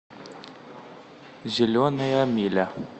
зеленая миля